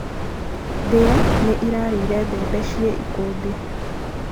mbĩa nĩ irarĩire mbembe ci ikũmbĩ